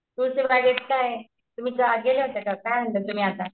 तुळशीबागेत काय तुम्ही गेला काय आणलं तुम्ही आता?